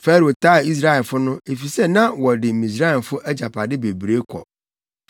Farao taa Israelfo no, efisɛ na wɔde Misraimfo agyapade bebree kɔ.